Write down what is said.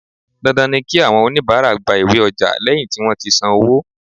Dandan ni kí àwọn onibaara gba iwé ọjà lẹ́yìn tí wón ti san owó.